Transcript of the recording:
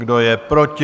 Kdo je proti?